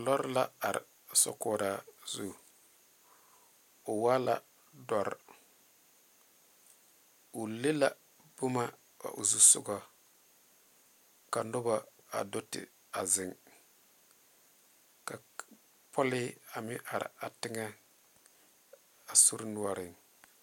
Lɔɔre la are a sakore zu o wa la dɔre o leŋe la boma dole o zu sogo ka a noba a do te zeŋe ka a pɔlee meŋ are a teŋɛ a sori noɔre.